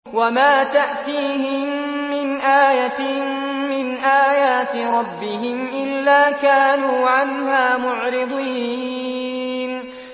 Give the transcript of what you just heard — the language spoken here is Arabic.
وَمَا تَأْتِيهِم مِّنْ آيَةٍ مِّنْ آيَاتِ رَبِّهِمْ إِلَّا كَانُوا عَنْهَا مُعْرِضِينَ